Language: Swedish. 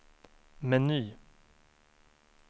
meny